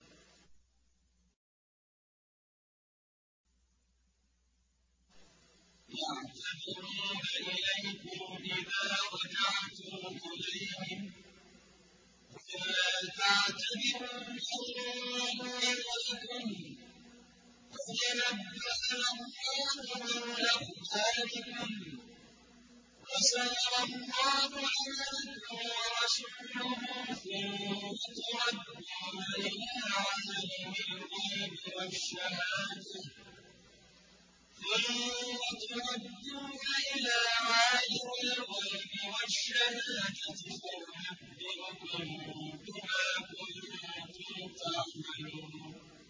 يَعْتَذِرُونَ إِلَيْكُمْ إِذَا رَجَعْتُمْ إِلَيْهِمْ ۚ قُل لَّا تَعْتَذِرُوا لَن نُّؤْمِنَ لَكُمْ قَدْ نَبَّأَنَا اللَّهُ مِنْ أَخْبَارِكُمْ ۚ وَسَيَرَى اللَّهُ عَمَلَكُمْ وَرَسُولُهُ ثُمَّ تُرَدُّونَ إِلَىٰ عَالِمِ الْغَيْبِ وَالشَّهَادَةِ فَيُنَبِّئُكُم بِمَا كُنتُمْ تَعْمَلُونَ